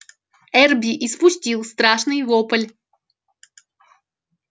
эрби испустил страшный вопль